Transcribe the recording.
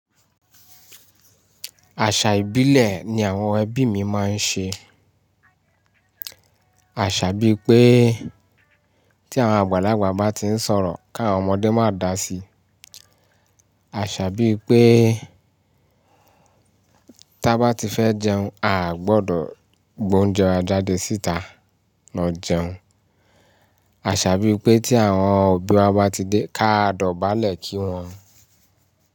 Àṣà ìbílẹ̀ ni àwọn ẹbí mi máa ń ṣe, àṣà bíi pé tí àwọn àgbàlagbà bá ti ń sọ̀rọ̀ kí àwọn ọmọdé má dá sí, àṣà bíi pé tí a bá ti fẹ́ jẹun a ò gbọdọ̀ gbé oúnjẹ wa jáde síta lọ jẹun, àṣà bíi pé tí àwọn òbí wa bá ti dé ká dọ̀bálẹ̀ kí wọ́n.